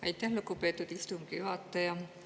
Aitäh, lugupeetud istungi juhataja!